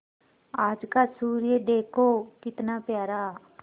आज का सूर्य देखो कितना प्यारा